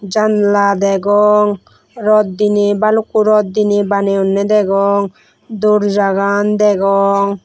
janala dagong rot dinaie balukko rot dinaie banayonay dagong door jagan dagong.